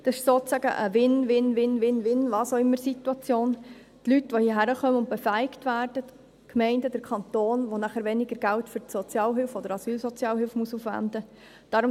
Es ist sozusagen eine Win-win-win-was-auch-immer-Situation – für die Leute, die hierhin kommen und befähigt werden, für die Gemeinden und den Kanton, die nachher weniger Geld für die Sozialhilfe oder die Asylsozialhilfe aufwenden müssen.